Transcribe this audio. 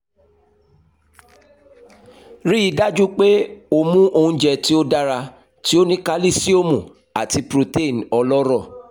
rii daju pe o mu ounjẹ ti o dara ti o ni kalisiomu ati protein ọlọrọ